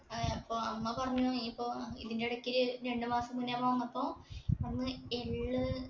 ആ ഇപ്പൊ അമ്മ പറഞ്ഞു നീയിപ്പോ ഏർ ഇതിന്റെ ഇടക്ക് രണ്ട് മാസം മുന്നെ നമ്മ വന്നപ്പോ പറഞ്ഞു എള്ള്